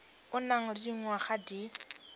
o nang le dingwaga di